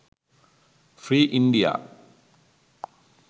free india